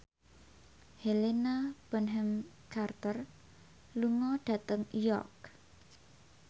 Helena Bonham Carter lunga dhateng York